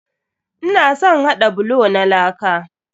Ina son haɗa bulo na laka.